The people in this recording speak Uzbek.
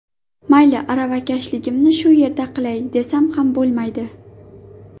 Mayli aravakashligimni shu yerda qilay, desam ham bo‘lmaydi.